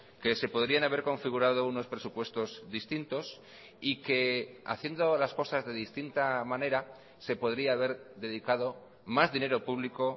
que se podrían haber configurado unos presupuestos distintos y que haciendo las cosas de distinta manera se podría haber dedicado más dinero público